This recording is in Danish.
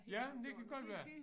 Jamen det kan godt være